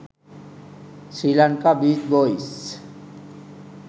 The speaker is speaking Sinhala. sri lanka beach boys